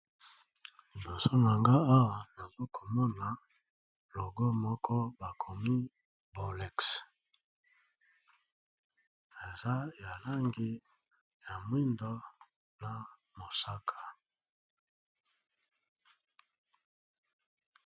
Liboso nanga awa nazo komona logo moko bakomi bolex eza ya langi ya mwindo na mosaka.